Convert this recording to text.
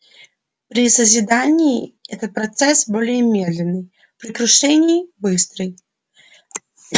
при созидании это процесс более медленный при крушении быстрый